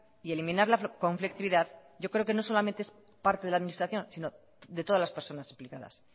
y eliminar la conflictividad yo creo que no solamente es parte de la administración sino de todas las personas implicadas